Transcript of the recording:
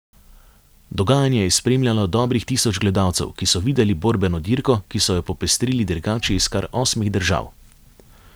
Dogajanje je spremljalo dobrih tisoč gledalcev, ki so videli borbeno dirko, ki so jo popestrili dirkači iz kar osmih držav.